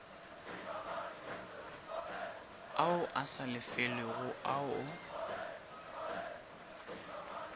ao a sa lefelwego ao